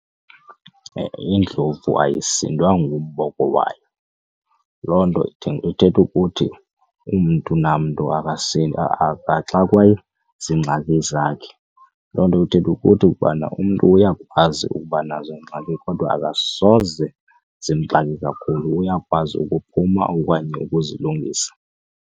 Indlovu ayisindwa ngumboko wayo. Loo nto ithetha ukuthi umntu namntu akasindwa akaxakwa ziingxaki zakhe. Loo nto ithetha ukuthi ukubana umntu uyakwazi ukuba nazo iingxaki kodwa akasoze zimxake kakhulu uyakwazi ukuphuma okanye ukuzilungisa.